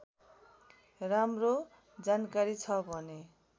राम्रो जानकारी छ भने